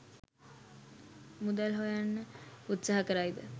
මුදල් හොයන්න උත්සහා කරයිද?